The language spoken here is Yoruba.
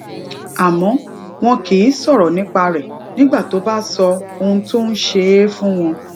àmó wón kì í sòrò nípa rè nígbà tó bá sọ ohun tó ń ṣe é fún wọn